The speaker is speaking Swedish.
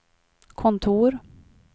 kontor